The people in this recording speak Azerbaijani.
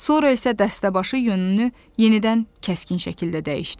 Sonra isə dəstəbaşı yönünü yenidən kəskin şəkildə dəyişdi.